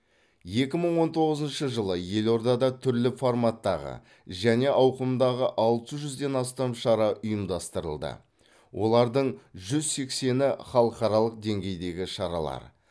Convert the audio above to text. екі мың он тоғызыншы жылы елордада түрлі форматтағы және ауқымдағы алты жүзден астам шара ұйымдастырылды олардың жүз сексені халықаралық деңгейдегі шаралар